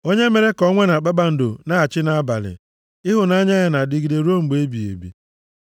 Onye mere ka ọnwa na kpakpando na-achị nʼabalị, Ịhụnanya ya na-adịgide ruo mgbe ebighị ebi.